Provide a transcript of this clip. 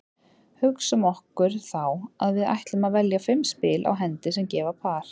Hugsum okkur þá að við ætlum að velja fimm spil á hendi sem gefa par.